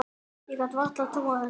Ég gat varla trúað þessu.